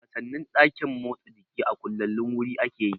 Wasannin ɗakin motsa jiki a kullallen wuri ake yi